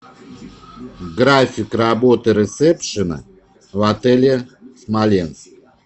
график работы ресепшена в отеле смоленск